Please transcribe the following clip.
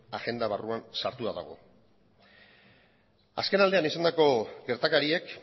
agenda barruan sartua dagoelako azkenaldian izandako gertakariek